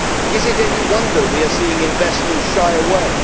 Is it any wonder we are seeing investors shy away?